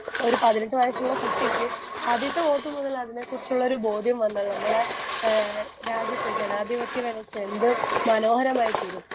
Speaker 1 ഒരു പതിനെട്ട് വയസ്സുള്ള കുട്ടിക്ക് ആദ്യത്തെ വോട്ട് മുതലതിനെക്കുറിച്ചുള്ളൊരു ബോധ്യം വന്നത് നമ്മളെ ഏഹ് രാജ്യത്ത് ജനാധിപത്യ വ്യവസ്ഥ എന്ത് മനോഹരമായ തീരും.